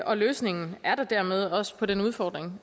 og løsningen er der dermed også på den udfordring